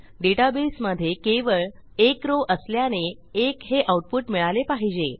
डेटाबेसमधे केवळ1 रॉव असल्याने 1 हे आऊटपुट मिळाले पाहिजे